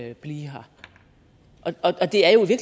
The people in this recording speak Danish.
vil blive her det er jo i